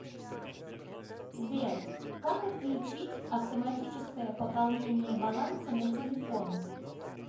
сбер как отключить автоматическое пополнение баланса на телефон